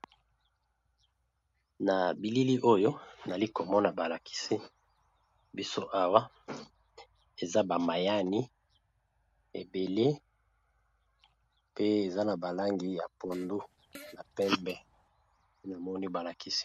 Na bilili oyo nali komona balakisi biso awa eza bamayani ebele pe eza na balangi ya pondu na pembe e namoni balakisi.